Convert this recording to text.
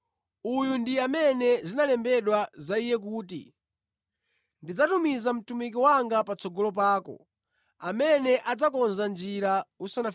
Uyu ndi amene malemba akunena za Iye kuti, “ ‘Ine ndidzatuma mthenga wanga patsogolo panu, amene adzakonza njira yanu.’